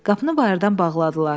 Qapını bayırdan bağladılar.